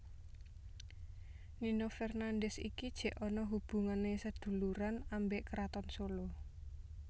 Nino Fernandez iki jek onok hubungan seduluran ambek kraton Solo